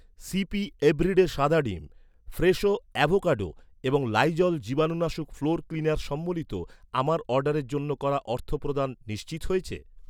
C P everyday সাদা ডিম , Fresho avocado এবং লাইজল জীবাণুনাশক ফ্লোর ক্লিনার সম্বলিত আমার অর্ডারের জন্য করা অর্থপ্রদান নিশ্চিত হয়েছে?